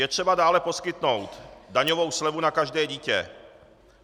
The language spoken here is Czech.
Je třeba dále poskytnout daňovou slevu na každé dítě.